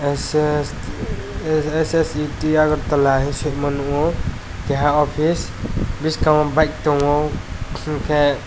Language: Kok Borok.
sset agartala hing singmo nukgo keha office biskango bike tongo hinkhe.